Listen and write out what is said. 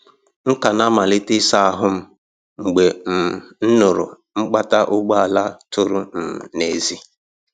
M ka na-amalite ịsa ihu m mgbe um m nụụrụ mkpata ụgbọala tụrụ um n’èzí.